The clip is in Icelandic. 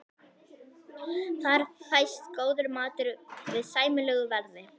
Þar fæst góður matur við sæmilegu verði.